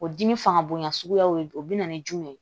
O dimi fanga bonya suguyaw de do o bɛna ni jumɛn ye